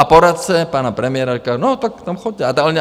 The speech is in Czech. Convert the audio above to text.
A poradce pana premiéra říká - no tak tam choďte.